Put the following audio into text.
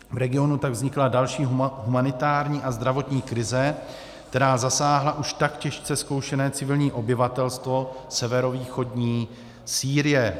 V regionu tak vznikla další humanitární a zdravotní krize, která zasáhla už tak těžce zkoušené civilní obyvatelstvo severovýchodní Sýrie.